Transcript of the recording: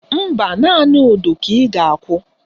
Mba, naanị udu ka ị ga-akụ